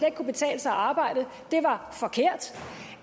ikke kunne betale sig at arbejde var forkert